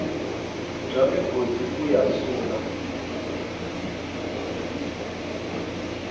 bya migodi ku ya sula